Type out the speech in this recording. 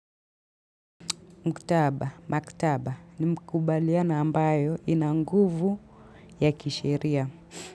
Mkutaba, maktaba, ni mkubaliana ambayo inanguvu ya kisheria.